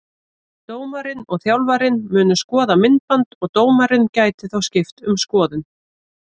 Dómarinn og þjálfarinn munu skoða myndband og dómarinn gæti þá skipt um skoðun.